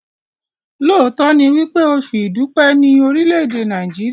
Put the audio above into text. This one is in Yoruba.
lóòtó ní wípé Oṣù idupẹ ni Orile-ede Amẹrika.